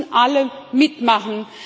Da müssen alle mitmachen.